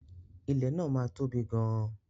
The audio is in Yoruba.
Ilẹ̀ náà máa tóbi gan-an.